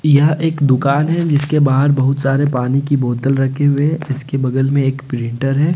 यह एक दुकान है जिसके बाहर बहुत सारे पानी की बोतल रखे हुए है इसके बगल में एक प्रिंटर है।